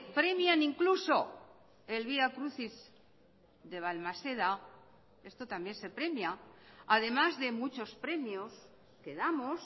premian incluso el vía crucis de balmaseda esto también se premia además de muchos premios que damos